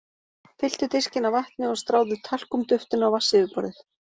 Fylltu diskinn af vatni og stráðu talkúm-duftinu á vatnsyfirborðið.